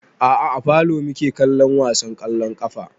A'a a falo muke kallon wasan ƙwallon ƙafa